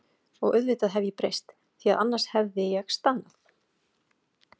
Og auðvitað hef ég breyst, því að annars hefði ég staðnað.